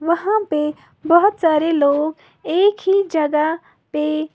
वहां पे बहुत सारे लोग एक ही जगह पे--